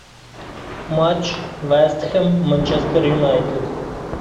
матч вест хэм манчестер юнайтед